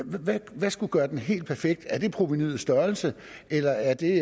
hvad skulle gøre den helt perfekt er det provenuets størrelse eller er det